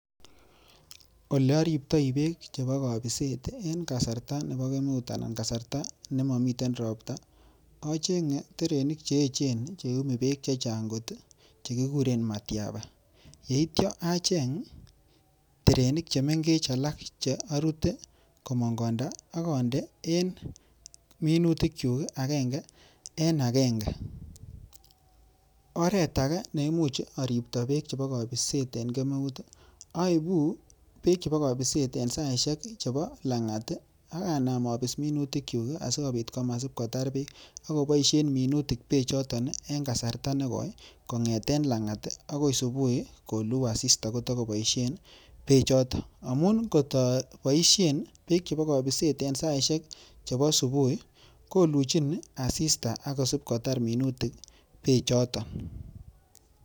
Ole oriptoi beek chebo kobiset en kasarta nebo kemeut anan kasarta ne momiten ropta, acheng'e terenik che echen che iyumi beek che chang kot kigikuren matiaba. Ye ityo acheng terenik che mengech alak che orute komong konda ak onde en minutikyuk agenge en agenge. Oret age neimuch oripto beek chebo kobiset en kemeut oibu beek chebo kobiset en saishek chebo lang'at ak abis minutikyuk asikobit komasib kotar beek ak koboisien minutik beechoto en kasarta nekoi kong'eten lang'at agoi subui koluu asista kotogoboisien beechoto. Amun kot aboishen beek chebo kobiset en saishek chebo subui koluchin asista ak kosibkotar minutik beechoto.